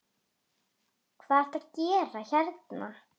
Hvað ertu að gera hérna?